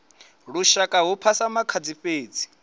lushaka hu phasa makhadzi fhedzi